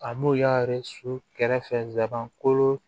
A n'u y'a su kɛrɛfɛ ko